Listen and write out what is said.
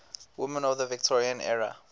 women of the victorian era